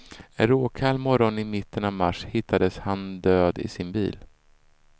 En råkall morgon i mitten av mars hittades han död i sin bil.